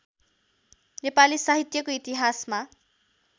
नेपाली साहित्यको इतिहासमा